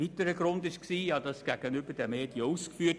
Diesen Grund habe ich bereits gegenüber den Medien ausgeführt.